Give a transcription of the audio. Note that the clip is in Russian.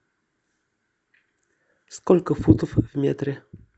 сколько футов в метре